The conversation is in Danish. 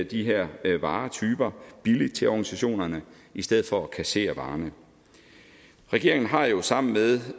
de her varetyper billigt til organisationerne i stedet for at kassere varerne regeringen har jo sammen med